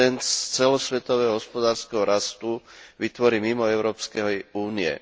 90 z celosvetového hospodárskeho rastu vytvorí mimo Európskej únie.